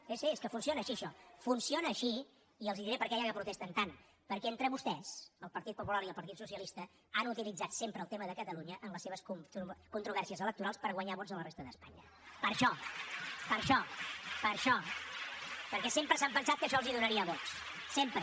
sí sí és que funciona així això funciona així i els diré per què ja que protesten tant perquè entre vostès el partit popular i el partit socialista han utilitzat sempre el tema de catalunya en les seves controvèrsies electorals per guanyar vots a la resta d’espanya per això per això per això perquè sempre s’han pensat que això els donaria vots sempre